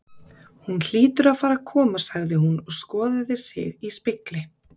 Hún hlýtur að fara að koma sagði hún og skoðaði sig í spegli.